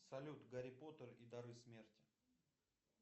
салют гарри поттер и дары смерти